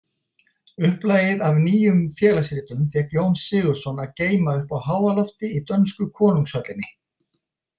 Upplagið af Nýjum félagsritum fékk Jón Sigurðsson að geyma uppi á háalofti í dönsku konungshöllinni.